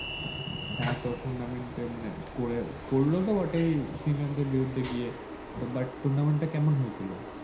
হ্যাঁ তো tournament মানে করে করলো বটেই senior দেড় বিরুদ্ধে গিয়ে তো but tournament তা কেমন হয়েছিল ।